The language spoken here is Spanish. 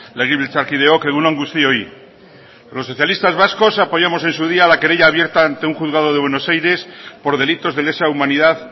legebiltzarkideok egun on guztioi los socialistas vascos apoyamos en su día la querella abierta ante un juzgado de buenos aires por delitos de lesa humanidad